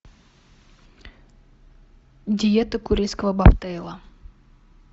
диета курильского бобтейла